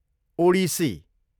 Odissi